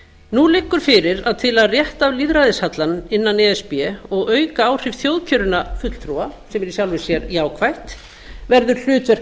nú liggur fyrir að til að rétta af lýðræðishallann innan e s b og auka áhrif þjóðkjörinna fulltrúa sem er í sjálfu sér jákvætt verður hlutverk